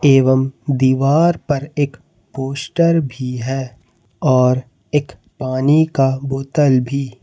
एवम दीवार पर एक पोस्टर भी है और एक पानी का बोतल भी --